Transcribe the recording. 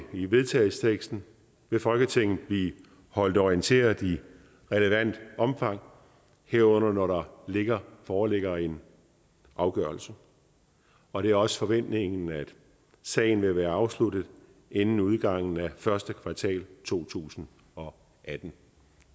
i vedtagelsesteksten vil folketinget blive holdt orienteret i relevant omfang herunder når der foreligger en afgørelse og det er også forventningen at sagen vil være afsluttet inden udgangen af første kvartal to tusind og atten